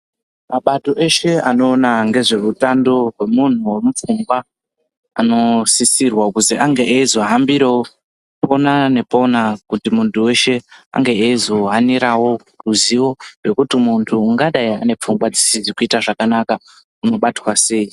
Mabato eshe anoona ngezveutano hwemunhu hwemunhu hwemupfungwa anosisirwa kuzi ange eizohambirawo pona nepona kuti muntu weshe ange eizohanirawo ruzivo rwekuti muntu ungadai ane pfungwa dzisizi kuita zvakanaka unobatwa sei.